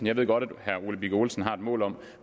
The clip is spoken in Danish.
jeg ved godt at herre ole birk olesen har et mål om